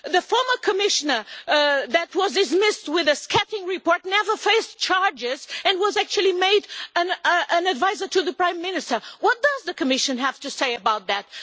The former Commissioner who was dismissed with a scathing report never faced charges and was actually made an adviser to the Prime Minister. What does the Commission have to say about that?